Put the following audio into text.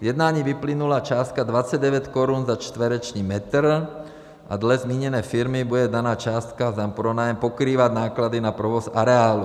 Z jednání vyplynula částka 29 korun za čtvereční metr a dle zmíněné firmy bude daná částka za pronájem pokrývat náklady na provoz areálu.